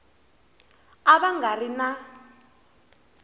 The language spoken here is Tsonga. a va nga ri na